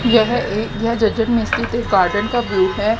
यह एक यह जजन मिस्री के गार्डन का व्यूव हैं।